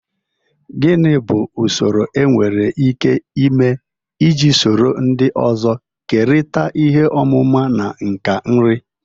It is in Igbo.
Gini bu usoro enwere ike ịme iji soro ndị ọzọ kerịta ihe ọmụma na nka nri?